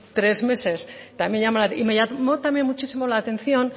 tres meses y también me llamó muchísimo la atención